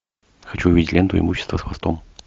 хочу увидеть ленту имущество с хвостом